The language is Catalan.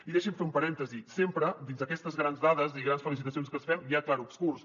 i deixi’m fer un parèntesi sempre dins d’aquestes grans dades i grans felicita cions que ens fem hi ha clarobscurs